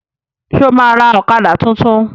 Ṣo ma ra ọ̀kadà tuntun?